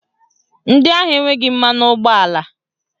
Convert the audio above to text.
Ndị ahụ enweghị mmanụ ụgbọala